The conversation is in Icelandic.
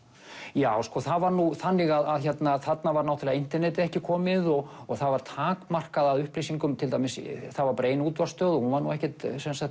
já það var nú þannig að þarna var internetið ekki komið og það var takmarkað af upplýsingum það var ein útvarpsstöð og hún var ekkert